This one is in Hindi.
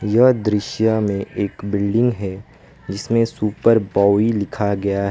यह दृश्य में एक बिल्डिंग है जिसमें सुपर बाओइ लिखा गया ह--